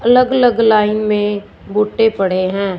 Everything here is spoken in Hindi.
अलग अलग लाइन में भुट्टे पड़े हैं।